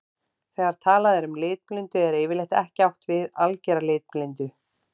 Þegar talað er um litblindu er yfirleitt ekki átt við að algera litblindu.